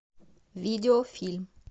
видеофильм